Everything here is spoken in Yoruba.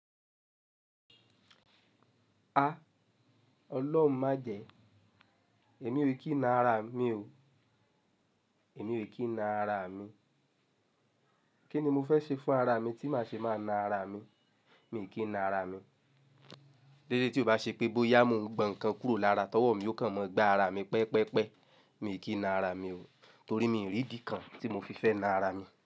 Ah! Ọlọ́run májẹ̀, èmi ò kí nà àrà mi o, èmi ò kí nà àrà mi. Kí ni mo fẹ́ ṣe fún àrà mi tí màá ṣe máa na àrà mi? Mi ò kí na àrà mi. Dédé tí ó bá ṣe pé bóyá mo ń gbọn ǹkan kúrò lára tọwọ́ mi yóò kàn mọ gba àrà mi pẹpẹpẹ. Mi ò kí na àrà mi o, torí mi ò rí idi kan tí mo fi fẹ́ na àrà mi.